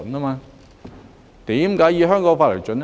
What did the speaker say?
為何要以香港法例為準？